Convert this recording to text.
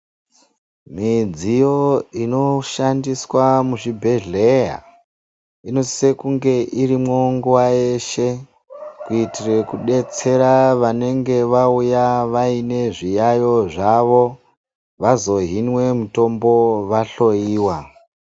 Mudziyo inoshandiswa muzvibhedhleya inosisa kunge irimwo nguwa yeshe kuitire kudetsera vanenge vauya vaine zviyaiyo zvavo vazohinwe mtombo vahloyiwa.